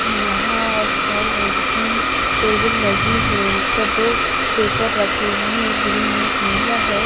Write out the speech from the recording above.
यहाँं एक हॉल है जिसमें टेबल लगी है जिस पर दो पेपर रखे हुए हैं एक ग्रीन एक नीला है।